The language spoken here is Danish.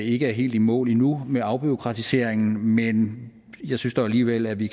ikke er helt i mål endnu med afbureaukratiseringen men jeg synes dog alligevel at vi